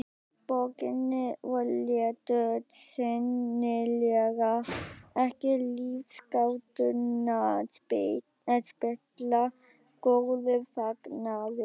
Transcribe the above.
Borginni og létu sennilega ekki lífsgátuna spilla góðum fagnaði.